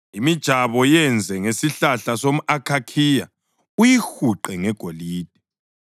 Imijabo yenze ngesihlahla somʼakhakhiya uyihuqe ngegolide.